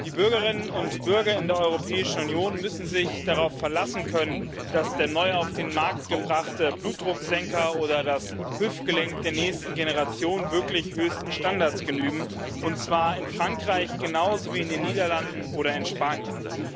Die Bürgerinnen und Bürger in der Europäischen Union müssen sich darauf verlassen können, dass der neu auf den Markt gebrachte Blutdrucksenker oder das Hüftgelenk der nächsten Generation wirklich höchsten Standards genügen, und zwar in Frankreich genauso wie in den Niederlanden oder in Spanien.